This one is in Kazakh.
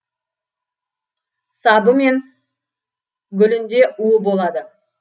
сабы мен гүлінде уы болады